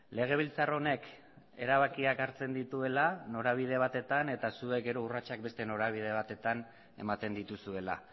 legebiltzar honek erabakiak hartzen dituela norabide batetan eta zuek gero urratsak beste norabide batetan ematen dituzuela